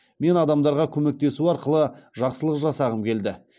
мен адамдарға көмектесу арқылы жақсылық жасағым келді